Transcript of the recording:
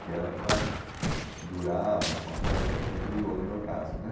Que era para durar ma mais tempo, até que durou no meu caso, né?